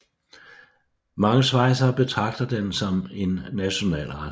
Mange schweizere betragter den som en nationalret